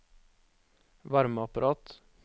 varmeapparat